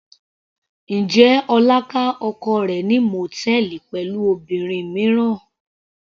Njẹ́ Ọlá ká oko rẹ̀ ní mòtẹ́ẹ́lì pẹ̀lú obìnrin mìíràn.